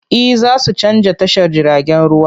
E, za su canza tashar jiragen ruwa.